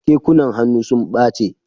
Kekunan hannu sun ɓache.